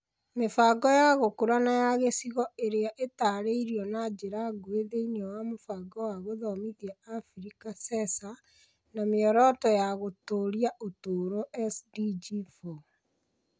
Mĩbango ya gũkũra na ya gĩcigo ĩrĩa ĩtaarĩirio na njĩra nguhĩ thĩinĩ wa Mũbango wa Gũthomithia Abirika (CESA), na Mĩoroto ya Gũtũũria Ũtũũro (SDG) 4 .